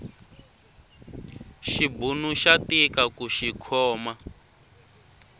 xibunu xa tika kuxi khoma